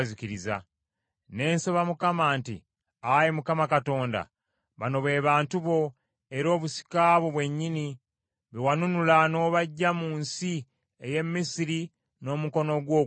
Ne nsaba Mukama nti, Ayi Mukama Katonda, bano be bantu bo, era obusika bwo bwennyini, be wanunula n’obaggya mu nsi ey’e Misiri n’omukono gwo ogw’amaanyi.